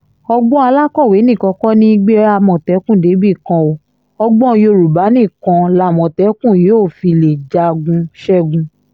ọgbọ́n alákọ̀wé nìkan kọ́ ní í gbé àmọ̀tẹ́kùn débì kan o ọgbọ́n yorùbá nìkan lamọ̀tẹ́kùn yóò fi lè jagun ṣẹ́gun